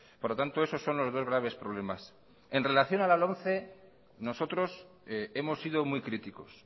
por lo tanto esos son los dos graves problemas en relación a la lomce nosotros hemos sido muy críticos